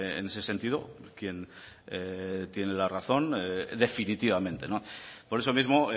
en ese sentido quien tiene la razón definitivamente por eso mismo